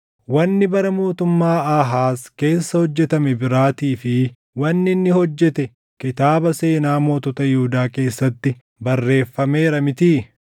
Wanni bara mootummaa Aahaaz keessa hojjetame biraatii fi wanni inni hojjete kitaaba seenaa mootota Yihuudaa keessatti barreeffameera mitii?